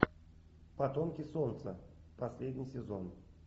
потомки солнца последний сезон